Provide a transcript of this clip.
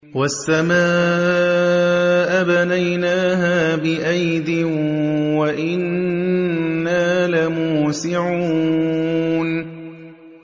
وَالسَّمَاءَ بَنَيْنَاهَا بِأَيْدٍ وَإِنَّا لَمُوسِعُونَ